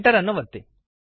enter ಅನ್ನು ಒತ್ತಿ